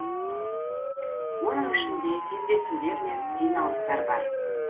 оның ішінде кездесулер мен жиналыстар бар